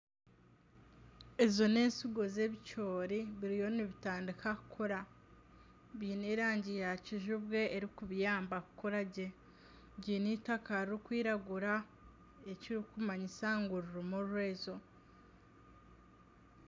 Ezo n'ensigo zebicoori biriyo nibitandika kukura biine erangi ya kizibwe eri kubiyamba kukura gye biine eitaka ririkwiragura ekirikumanyisa ngu ririmu orwezo.